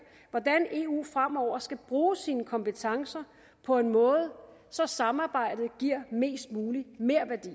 hvordan eu fremover skal bruge sine kompetencer på en måde så samarbejdet giver mest mulig merværdi